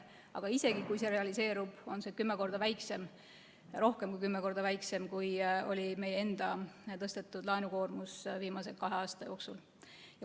Aga isegi kui see realiseerub, on see rohkem kui kümme korda väiksem, kui oli meie enda tõstetud laenukoormus viimase kahe aasta jooksul.